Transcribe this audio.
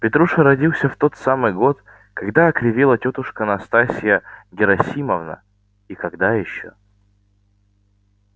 петруша родился в тот самый год когд окривела тётушка настасья герасимовна и когда ещё